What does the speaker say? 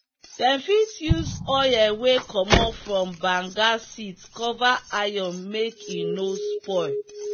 them fit use oil wey commot from banga seeds cover iron make e no spoil.